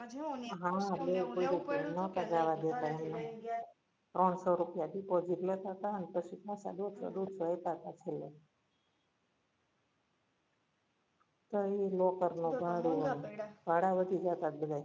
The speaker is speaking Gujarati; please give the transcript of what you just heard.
નોતા જવા દેતા ત્રણસો રૂપિયા deposit લેતા તા અને પછી પાછા દોઢસો દોઢસો આપ્યા તા છેલ્લે. ત્યાં એ locker નું ભાડું હતુ ભાડા વધી ગયા તા બધા એ